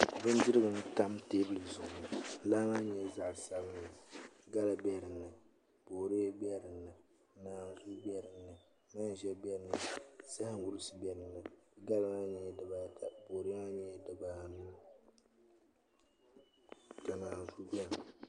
Bindirigu n tam teebuli zuɣu laa maa nyɛla zaɣ sabinli gala bɛ dinni boodiyɛ bɛ dinni naanzuu bɛ dinni manʒa bɛ dinni zaham wurisi bɛ dinni gala maa nyɛla dibaata boodiyɛ maa nyɛla dibaanu ka naanzuu biɛni